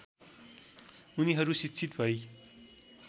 उनीहरू शिक्षित भई